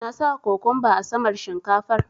Na saka cokumba a saman shinkafar.